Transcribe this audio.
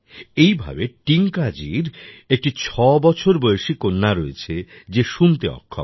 একইভাবে টিংকাজির একটি ৬ বছর বয়সী কন্যা রয়েছে যে শুনতে অক্ষম